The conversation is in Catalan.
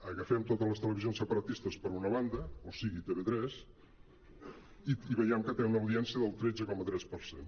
agafem totes les televisions separatistes per una banda o sigui tv3 i veiem que tenen una audiència del tretze coma tres per cent